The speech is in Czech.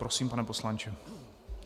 Prosím, pane poslanče.